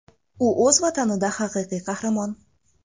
U o‘z Vatanida haqiqiy qahramon.